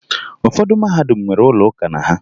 Ụfọdụ mahadum nwere ụlọ ụka na ha